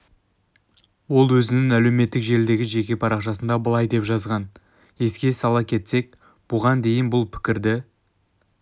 ол өзінің әлеуметтік желідегі жеке парақшасында былай деп жазған еске сала кетсек бұған дейін бұл пікірді